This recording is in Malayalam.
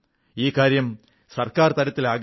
ഈ കാര്യം സർക്കാർ തലത്തിലാകരുത്